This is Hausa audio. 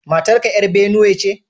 Matar ka ‘yar Binuwe ce?